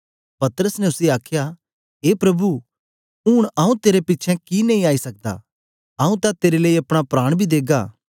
पतरस ने उसी आखया ए प्रभु ऊन आऊँ तेरे पिछें कि नेई आई सकदा आऊँ तां तेरे लेई अपना प्राण बी देगा